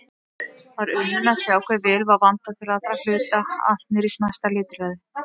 Var unun að sjá hve vel var vandað til allra hluta, allt niðrí smæsta lítilræði.